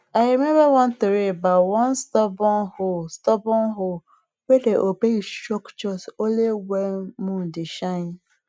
i remember one tori about one stubborn hoe stubborn hoe wey dey obey instruction only when moon dey shine